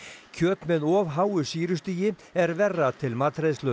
kjöt með of háu sýrustigi er verra til matreiðslu